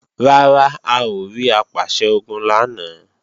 Rárá, a ò rí Apàṣẹ-Ogun lánàá